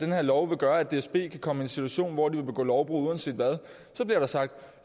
her lov vil gøre at dsb kan komme i en situation hvor de vil begå lovbrud uanset hvad så bliver der sagt